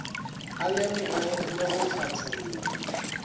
a lemoge le go hlatholla